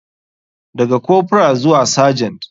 Daga corporal zuwa sergent.